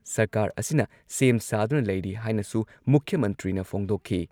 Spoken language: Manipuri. ꯁꯔꯀꯥꯔ ꯑꯁꯤꯅ ꯁꯦꯝ ꯁꯥꯗꯨꯅ ꯂꯩꯔꯤ ꯍꯥꯏꯅꯁꯨ ꯃꯨꯈ꯭ꯌ ꯃꯟꯇ꯭ꯔꯤꯅ ꯐꯣꯡꯗꯣꯛꯈꯤ ꯫